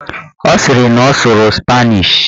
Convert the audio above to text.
Ọ sịrị na ọ sụrụ spanish